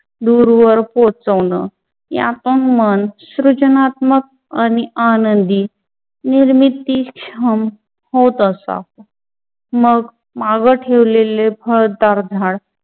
दूरवर पोचवण यातून मन सृजनात्मक आणि आनंदी निर्मिती छान होत असाव मग माग ठेवलेले भरदार झाड